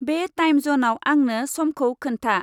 बे टाइम जनाव आंनो समखौ खोन्था।